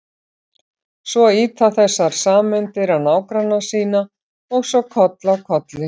Svo ýta þessar sameindir á nágranna sína og svo koll af kolli.